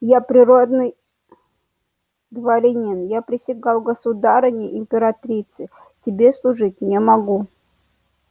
я природный дворянин я присягал государыне императрице тебе служить не могу